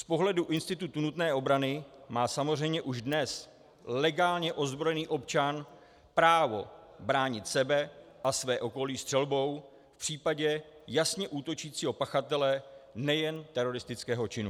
Z pohledu institutu nutné obrany má samozřejmě už dnes legálně ozbrojený občan právo bránit sebe a své okolí střelbou v případě jasně útočícího pachatele nejen teroristického činu.